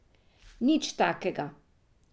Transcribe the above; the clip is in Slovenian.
Nič takega.